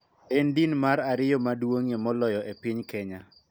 En din mar ariyo maduong�ie moloyo e piny Kenya.